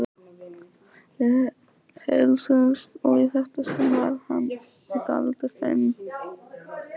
Við heilsuðumst og í þetta sinn var ég dálítið feimin.